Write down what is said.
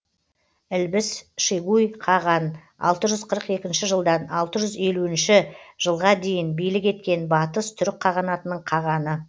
ілбіс шегуй қаған алты жүз қырық екінші жылдан алты жүз елуінші жылға дейін билік еткен батыс түрік қағанатының қағаны